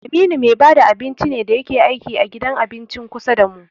Aminu me bada abinci ne da yake aiki a gidan abincin kusa damu.